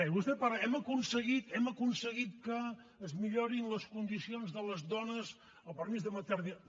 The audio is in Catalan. vostè parla hem aconseguit hem aconseguit que es millorin les condicions de les dones el permís de maternitat